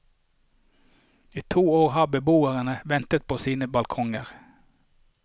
I to år har beboerne ventet på sine balkonger.